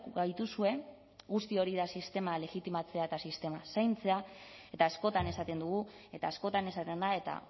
gaituzue guzti hori da sistema legitimatzea eta sistema zaintzea eta askotan esaten dugu eta askotan esaten da eta